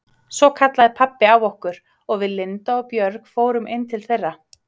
Svo kallaði pabbi á okkur og við Linda og Björg fórum inn til þeirra.